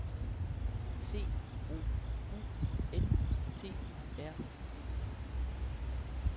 C O U N T R Y